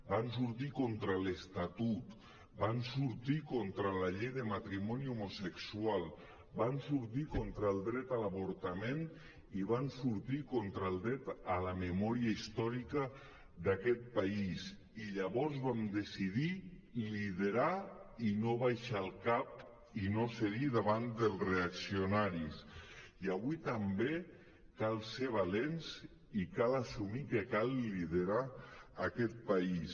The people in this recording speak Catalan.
van sortir contra l’estatut van sortir contra la llei de matrimoni homosexual van sortir contra el dret a l’avortament i van sortir contra el dret a la memòria històrica d’aquest país i llavors vam decidir liderar i no abaixar el cap i no cedir davant dels reaccionaris i avui també cal ser valents i cal assumir que cal liderar aquest país